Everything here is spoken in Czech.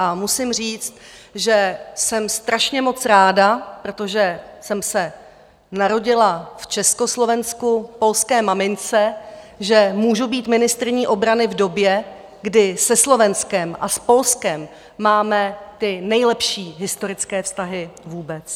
A musím říct, že jsem strašně moc ráda, protože jsem se narodila v Československu polské mamince, že můžu být ministryní obrany v době, kdy se Slovenskem a s Polskem máme ty nejlepší historické vztahy vůbec.